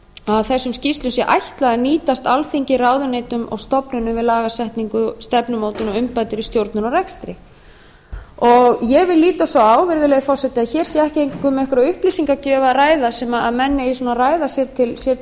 að þessum skýrslum sé ætlað að nýtast alþingi ráðuneytum og stofnunum við lagasetningu stefnumótun og umbætur í stjórnun og rekstri ég vil líta svo á virðulegi forseti að hér sé ekki einkum um einhverja upplýsingagjöf að ræða sem menn eigi svona að ræða sér